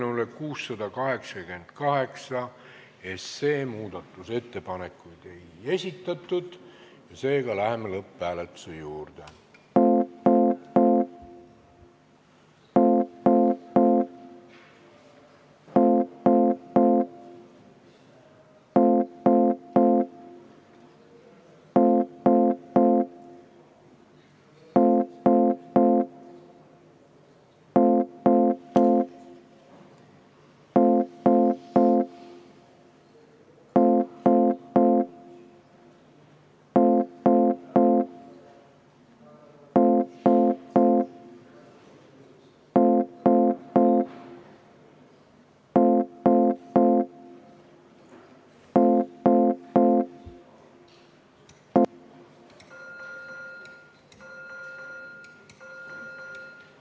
Eelnõule 688 muudatusettepanekuid ei esitatud, seega läheme lõpphääletuse juurde.